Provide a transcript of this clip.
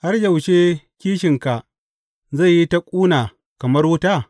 Har yaushe kishinka zai yi ta ƙuna kamar wuta?